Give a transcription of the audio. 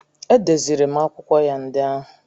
Edeziri m akwụkwọ ya ndị ahụ.